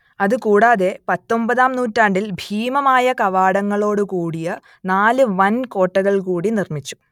അത് കൂടാതെ പത്തൊമ്പതാം നൂറ്റാണ്ടിൽ ഭീമമായ കവാടങ്ങളോട് കൂടിയ നാല് വൻ കോട്ടകൾ കൂടി നിർമിച്ചു